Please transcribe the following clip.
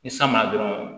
Ni san ma na dɔrɔn